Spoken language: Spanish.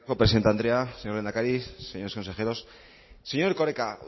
presidente andrea señor lehendakari señores consejeros señor erkoreka